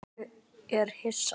Er ég Hissa?